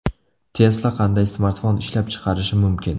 Tesla qanday smartfon ishlab chiqarishi mumkin?.